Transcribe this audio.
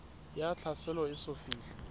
ya tlhaselo e eso fihle